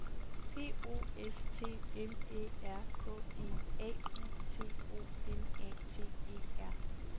P O S T M Æ R K E A U T O M A T E R